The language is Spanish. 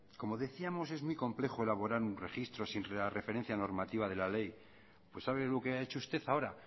como decíamos es muy complejo elaborar un registro sin la referencia normativa de la ley pues sabe lo que ha hecho usted ahora